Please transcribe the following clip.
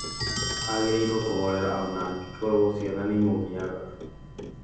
Agĩrĩirũo kũhorera ona angĩkorwo ciana nĩ ciamũgiaga